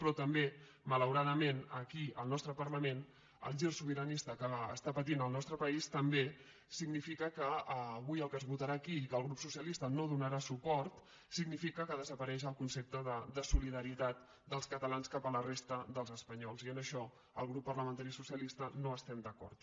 però també malauradament aquí al nostre parla·ment el gir sobiranista que està patint el nostre país també significa que avui el que es votarà aquí i que el grup socialista no hi donarà suport significa que de·sapareix el concepte de solidaritat dels catalans cap a la resta dels espanyols i en això el grup parlamentari socialista no estem d’acord